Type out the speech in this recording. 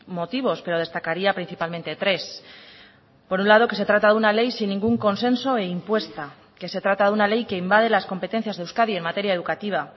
motivos pero destacaría principalmente tres por un lado que se trata de una ley sin ningún consenso e impuesta que se trata de una ley que invade las competencias de euskadi en materia educativa